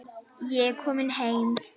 Ég er kominn heim!